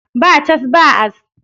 Ba cas, ba as